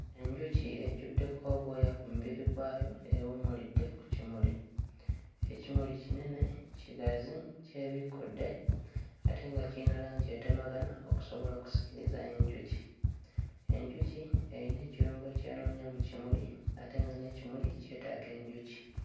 Enjuki ejjuddeko obwayo ku mubiri gwayo ewummulidde ku kimuli. Ekimuli kinene kigazi kyebikkudde ate nga kirina alangi etemagana okusobola okusikiriza enjuki. Enjuki eyina ekirungo ky'enoonya mu kimuli ate nga n'ekimuli kyetaaga enjuki.